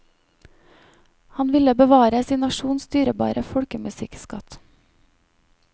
Han ville bevare sin nasjons dyrebare folkemusikkskatt.